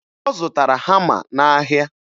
Ọ zụtara hama n'ahịa